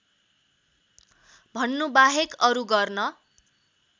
भन्नुबाहेक अरू गर्न